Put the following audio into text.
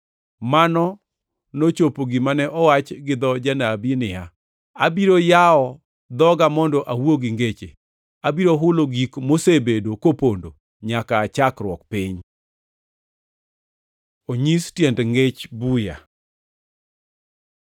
Mano nochopo gima ne owach gidho janabi niya, “Abiro yawo dhoga mondo awuo gi ngeche, abiro hulo gik mosebedo kopondo nyaka aa chakruok piny.” + 13:35 \+xt Zab 78:2\+xt* Onyis tiend ngech buya